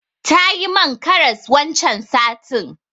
Tayi man karas wancan satin.